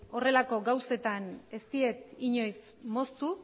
horrelako gauzetan ez diet inoiz moztu